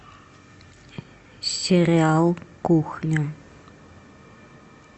сериал кухня